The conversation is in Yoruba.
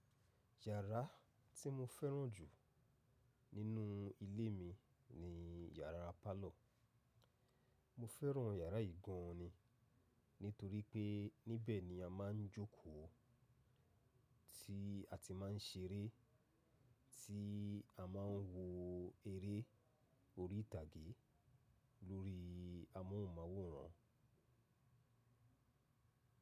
Yàrá tí mo fẹ́ràn jù nínú ilé mi ni yàrá parlour. Mo fẹ́ràn yàrá yìí gan ni nítorí pé níbẹ̀ ni a máa ń jókòó, tí a ti máa ń ṣeré, tí a máa ń wo eré orí ìtàgé lórí amóhùnmáwòrán.